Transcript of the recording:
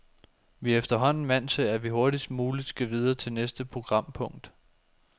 Vi er efterhånden vant til, at vi hurtigst muligt skal videre til næste programpunkt.